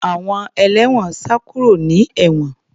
Àwọn ẹlẹ́wọ̀n sá kúrò ní ewon